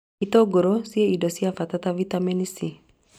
Itũngũrũ ciĩna indo cia bata ta bitameni C